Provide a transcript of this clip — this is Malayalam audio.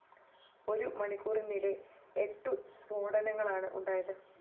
ഒരു മണിക്കൂറിനിടെ എട്ടു സ്‌ഫോടനങ്ങളാണ് ഉണ്ടായത്